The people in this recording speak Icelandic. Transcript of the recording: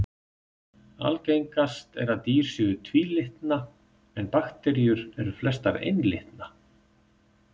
Algengast er að dýr séu tvílitna en bakteríur eru flestar einlitna.